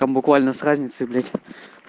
там буквально с разницей блять